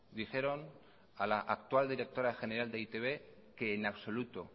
dijeron a la actual directora general de e i te be que en absoluto